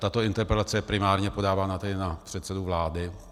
Tato interpelace je primárně podávána tady na předsedu vlády.